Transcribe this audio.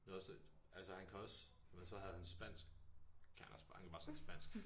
Men også at altså han kan også men så havde han spansk det kan han også bare han kan bare tale spansk